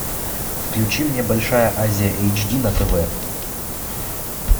включи мне большая азия эйч ди на тв